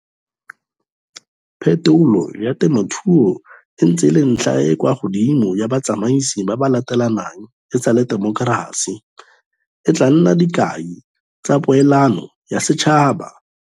Phetolo ya temothuo e ntse e le ntlha e e kwa godimo ya batsamaisi ba ba latelanang e sale temokerasi. E tla nna dikai tsa poelano ya setšhaba.